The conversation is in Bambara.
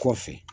Kɔfɛ